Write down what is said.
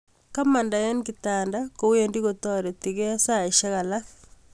Komandai eng kitanda kowendi kotaritingie saishek alak